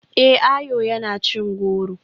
Eh, Ayo yana cin goro.